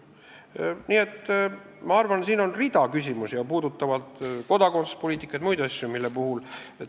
Ma arvan, et siin on rida küsimusi, puudutavalt kodakondsuspoliitikat ja muid asju.